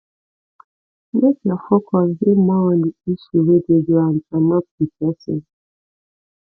make your focus dey more on the issue wey dey ground and not di person